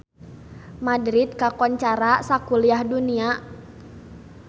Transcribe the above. Madrid kakoncara sakuliah dunya